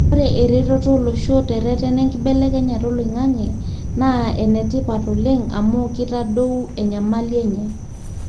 ore eretoto olosho tereten enkibelekenyata oloingange na enetipat oleng ama kitadou enyamali enye.